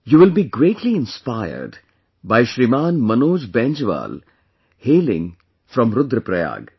You will be greatly inspired by Shriman Manoj Bainjwal hailing form Rudra Prayag